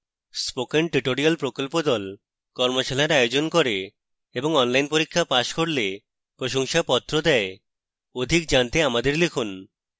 spoken tutorial প্রকল্প the কর্মশালার আয়োজন করে এবং online পরীক্ষা pass করলে প্রশংসাপত্র দেয়